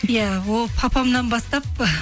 иә ол папамнан бастап